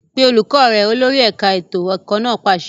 Pe olùkọ́ rẹ! Olórí ẹ̀ka ètò ẹ̀kọ́ náà pàṣẹ.